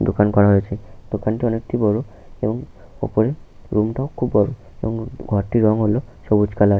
দোকান করা হয়েছে। দোকানটি অনেক বড় এবং ওপরে রুমটাও খুবই বড় এবং ঘরটির রং হলো সবুজ কালার ।